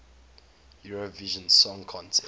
eurovision song contest